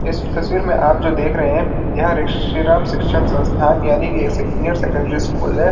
इस तस्वीर में आप जो देख रहे हैं यह ऋषिराम शिक्षण संस्थान यानी कि एक सीनियर सेकेंडरी स्कूल है।